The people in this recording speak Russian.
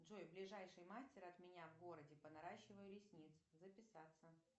джой ближайший мастер от меня в городе по наращиванию ресниц записаться